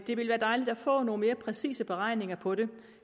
det ville være dejligt at få nogle mere præcise beregninger på det